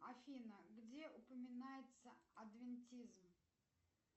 афина где упоминается адвентизм